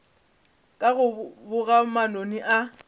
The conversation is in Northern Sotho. ka go boga manoni a